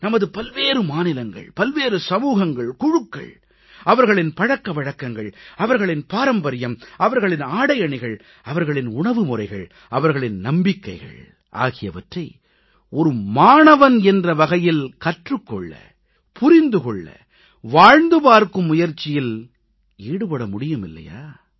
நமது பல்வேறு மாநிலங்கள் பல்வேறு சமூகங்கள் குழுக்கள் அவர்களின் பழக்க வழக்கங்கள் அவர்களின் பாரம்பரியம் அவர்களின் ஆடையணிகள் அவர்களின் உணவு முறைகள் அவர்களின் நம்பிக்கைகள் ஆகியவற்றை மாணவன் என்ற வகையில் கற்றுக் கொள்ள புரிந்து கொள்ள வாழ்ந்து பார்க்கும் முயற்சியில் ஈடுபட முடியுமில்லையா